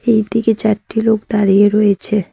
এইদিকে চারটি লোক দাঁড়িয়ে রয়েছে।